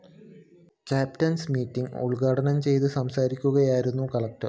captains meeting ഉദ്ഘാടനം ചെയ്ത് സംസാരിക്കുകയായിരുന്നു കളക്ടർ